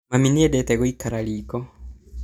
Mami nĩendete gũikara riko